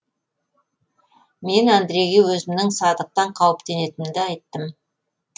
мен андрейге өзімнің садықтан қауіптенетінімді айттым